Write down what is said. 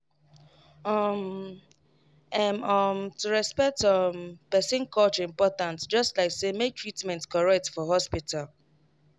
um ehm um to respect um person culture important just like say make treatment correct for hospital.